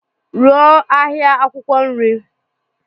Rụọ ahịa akwụkwọ nri.